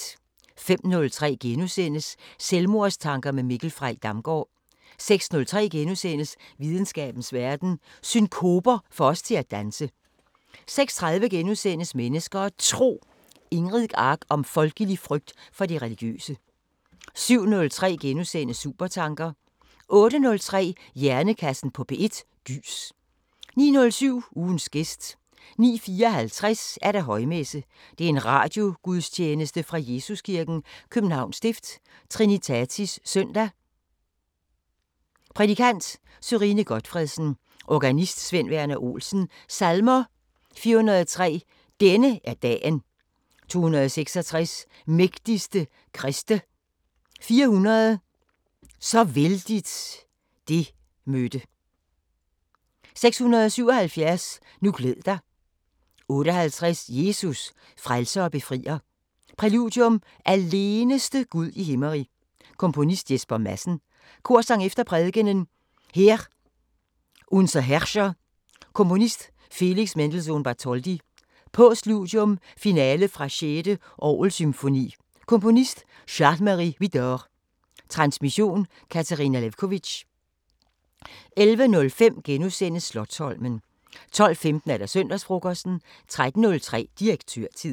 05:03: Selvmordstanker med Mikkel Frey Damgaard * 06:03: Videnskabens Verden: Synkoper får os til at danse * 06:30: Mennesker og Tro: Ingrid Ank om folkelig frygt for det religiøse * 07:03: Supertanker * 08:03: Hjernekassen på P1: Gys 09:07: Ugens gæst 09:54: Højmesse - Radiogudstjeneste fra Jesuskirken, København Stift. Trinitatis søndag Prædikant: Sørine Gotfredsen. Organist: Sven Verner Olsen. Salmer: 403: "Denne er dagen" 266: "Mægtigste Kriste" 400: "Så vældigt det mødte" 677: "Nu glæd dig" 58: "Jesus, frelser og befrier" Præludium: Aleneste Gud i Himmerig. Komponist: Jesper Madsen. Korsang efter prædikenen: Heer, unser Herrscher. Komponist: Felix Mendelssohn- Bartholdy. Postludium: Finale fra 6. orgelsymfoni Komponist: Charles-Marie Widor. Transmission: Katarina Lewkovitch. 11:05: Slotsholmen * 12:15: Søndagsfrokosten 13:03: Direktørtid